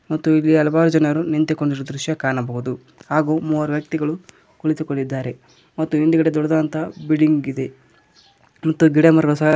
ಮತ್ತು ಇಲ್ಲಿ ಹಲವಾರು ಜನರು ನಿಂತುಕೊಂಡಿರುವ ದೃಶ್ಯ ಕಾಣಬಹುದು ಹಾಗೂ ಮೂವರು ವ್ಯಕ್ತಿಗಳು ಕುಳಿತುಕೊಂಡಿದ್ದಾರೆ ಮತ್ತು ಹಿಂದುಗಡೆ ದೊಡ್ಡದಾದಂತ ಬಿಲ್ಡಿಂಗ್ ಇದೆ ಮತ್ತು ಗಿಡ ಮರಗಳು ಸಹ--